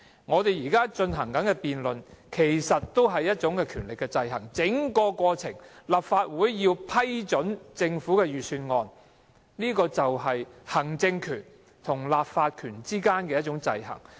我們現正進行的辯論其實也是一種權力的制衡，立法會在通過或否決政府預算案的過程中，便見到行政權和立法權之間的制衡。